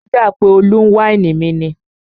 Ó dà pé Olú ń wáìnì mi ni